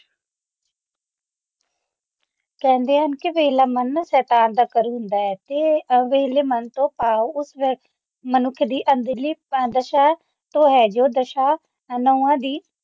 ਕਹਿੰਦੇ ਹਨ ਕਿ ਵਿਹਲਾ ਮਨ ਸ਼ੈਤਾਨ ਦਾ ਘਰ ਹੁੰਦਾ ਹੈ ਤੇ ਅ ਵਿਹਲੇ ਮਨ ਤੋਂ ਭਾਵ ਓਸ ਵਿਅਕਤੀ ਦੀ ਅੰਦਰਲੀ ਦੁਰ ਢਾ ਤੋਂ ਹੈ ਜੋ ਜੋ ਦਸਾਂ